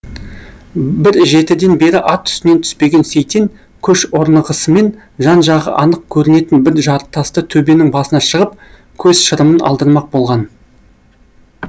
бір жетіден бері ат үстінен түспеген сейтен көш орнығысымен жан жағы анық көрінетін бір жартасты төбенің басына шығып көз шырымын алдырмақ болған